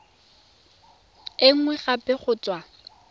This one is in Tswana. e nngwe gape go tswa